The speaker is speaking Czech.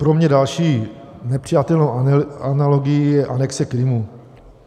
Pro mě další nepřijatelnou analogií je anexe Krymu.